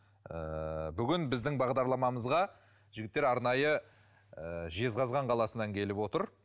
ыыы бүгін біздің бағдарламамызға жігіттер арнайы ыыы жезқазған қаласынан келіп отыр